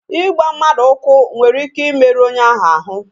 Igba mmadụ ụkwụ nwere ike imeru onye ahụ ahụ